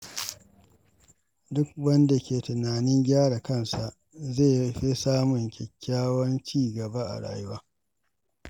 Duk wanda ke tunanin gyara kansa zai fi samun kyakkyawan ci gaba a rayuwa.